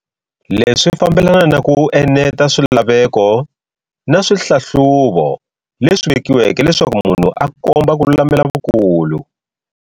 Leswi swi fambelana na ku eneta swilaveko na swihlahluvo leswi vekiweke leswaku munhu a komba ku lulamela vukulu.